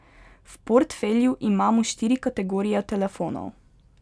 V portfelju imamo štiri kategorije telefonov.